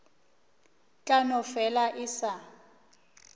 tla no fela e sa